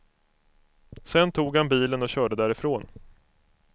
Sedan tog han bilen och körde därifrån.